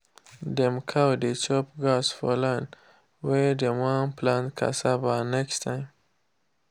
dem cow dey chop grass for land wey dem wan plant cassava next time.